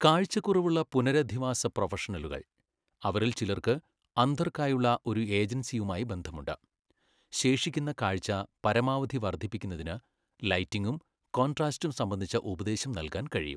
കാഴ്ചക്കുറവുള്ള പുനരധിവാസ പ്രൊഫഷണലുകൾ, അവരിൽ ചിലർക്ക് അന്ധർക്കായുള്ള ഒരു ഏജൻസിയുമായി ബന്ധമുണ്ട്, ശേഷിക്കുന്ന കാഴ്ച പരമാവധി വർദ്ധിപ്പിക്കുന്നതിന് ലൈറ്റിംഗും കോൺട്രാസ്റ്റും സംബന്ധിച്ച ഉപദേശം നൽകാൻ കഴിയും.